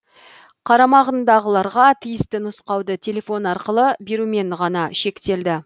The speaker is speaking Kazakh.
қарамағындағыларға тиісті нұсқауды телефон арқылы берумен ғана шектелді